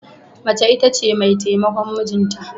Mace ita ce mai taimakon mijinta.